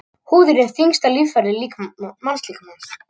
Húðin er þyngsta líffæri mannslíkamans.